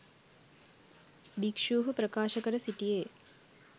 භික්ෂුහු ප්‍රකාශ කර සිටියේ